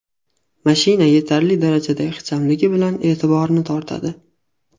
Mashina yetarli darajada ixchamligi bilan e’tiborni tortadi.